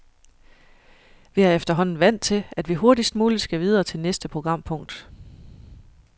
Vi er efterhånden vant til, at vi hurtigst muligt skal videre til næste programpunkt.